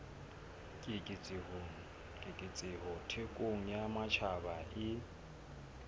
keketseho thekong ya matjhaba e